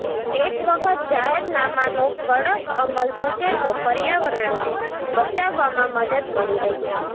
એક વખત જાહેરનામાનો કડક અમલ થશે તો પર્યાવરણને બચાવવામાં મદદ મળી રહેશે